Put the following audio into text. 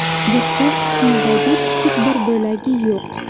Burchak qismidagi kichik bir bo‘lagi yo‘q.